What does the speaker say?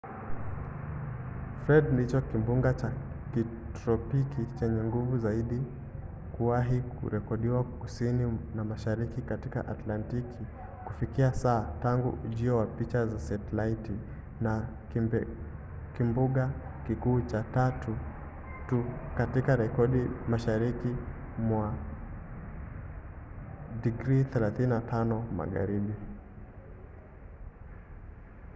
fred ndicho kimbunga cha kitropiki chenye nguvu zaidi kuwahi kurekodiwa kusini na mashariki katika atlantiki kufikia sasa tangu ujio wa picha za setalaiti na kimbunga kikuu cha tatu tu katika rekodi mashariki mwa 35° magharibi